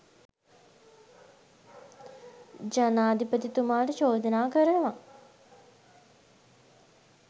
ජනාධිපතිතුමාට චෝදනා කරනවා